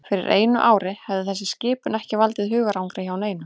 Fyrir einu ári hefði þessi skipun ekki valdið hugarangri hjá neinum.